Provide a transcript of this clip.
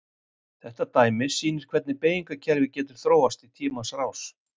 Þetta dæmi sýnir hvernig beygingarkerfið getur þróast í tímanna rás.